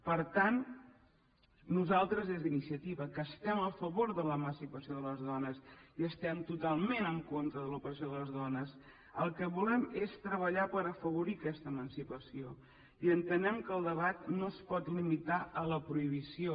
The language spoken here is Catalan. per tant nosaltres des d’iniciativa que estem a favor de l’emancipació de les dones i estem totalment en contra de l’opressió de les dones el que volem és treballar per afavorir aquesta emancipació i entenem que el debat no es pot limitar a la prohibició